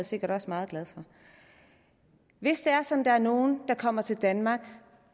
sikkert også meget glad for hvis det er sådan der er nogen der kommer til danmark